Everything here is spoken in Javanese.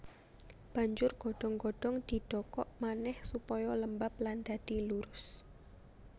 Banjur godhong godhong didokok manèh supaya lembab lan dadi lurus